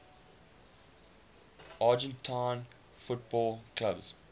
argentine football clubs